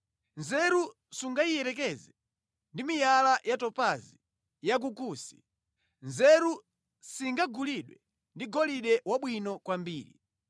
Nzeru sungayiyerekeze ndi miyala ya topazi ya ku Kusi; nzeru singagulidwe ndi golide wabwino kwambiri.